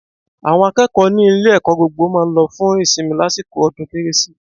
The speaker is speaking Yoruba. Àwọn akẹ́kọ̀ọ́ nílé ẹ̀kọ́ gbogbo máa lọ fún ìsinmi lásìkò ọdún kérésì